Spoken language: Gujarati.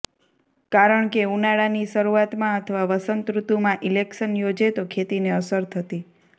કારણકે ઉનાળાની શરુઆતમાં અથવા વસંત ઋતુમાં ઈલેક્શન યોજે તો ખેતીને અસર થતી